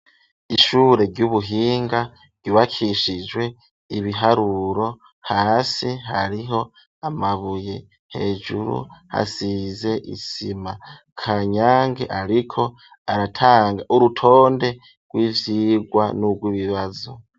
Ishure ry'ubuhinga, ryubakishijwe ibiharuro ,hasi hariho amabuye, hejuru hasize isima ,kanyange ariko aratanga urutonde rw'ivyigwa n'ubw'ibibazo.